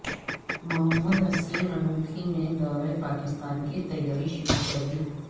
محمد Hussain Inoki نے دورہ پاکستان کی تیاری شروع کردی